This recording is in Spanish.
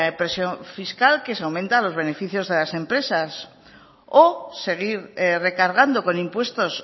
presión fiscal que se aumenta a los beneficios de las empresas o seguir recargando con impuestos